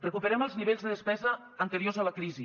recuperem els nivells de despesa anteriors a la crisi